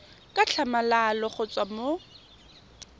ka tlhamalalo go tswa mo